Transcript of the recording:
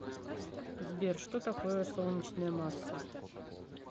сбер что такое солнечная масса